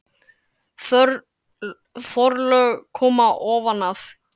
Forlög koma ofan að